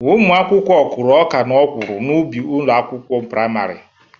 Ụmụ akwụkwọ kụrụ ọka na ọgwụrụ n'ubi ụlọ akwụkwọ prịmarị.